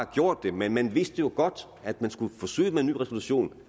gjort det men man vidste jo godt at man skulle forsøge med en ny resolution